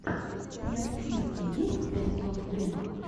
у тебя в списке есть пять сос вево